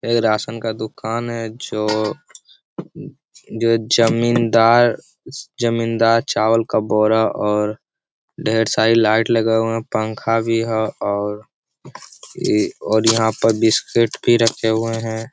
ये राशन का दुकान है जो जमींदारजमींदार चावल का बोरा और ढेर सारी लाइट लगी हुई है पंखा भी है और यहाँ पर बिस्कुट भी रखे हुए है ।